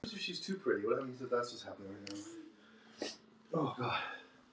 Viltu kalla þig Tólfu eða viltu það ekki?